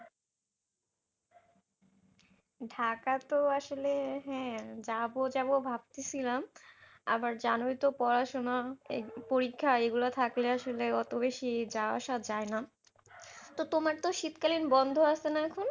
ঢাকা তো আসলে হ্যাঁ যাব যাব ভাবতেছিলাম আবার জানোই তো পড়াশোনা পরীক্ষা এগুলো থাকলে আসলে এত বেশি যাওয়া আসা যায়না তো তোমার তো শীতকালীন বন্ধ আছে না এখন?